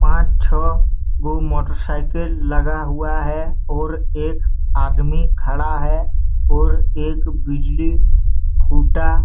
पांच छ: गो मोटरसायकल लगा हुआ है और एक आदमी खडा है और एक बिजली खुटा--